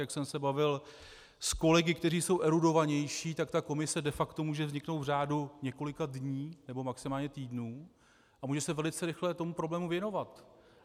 Jak jsem se bavil s kolegy, kteří jsou erudovanější, tak ta komise de facto může vzniknout v řádu několika dní, nebo maximálně týdnů, a může se velice rychle tomu problému věnovat.